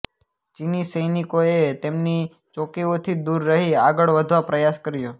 ચીની સૈનિકોએ તેમની ચોકીઓથી દૂર રહી આગળ વધવા પ્રયાસ કર્યો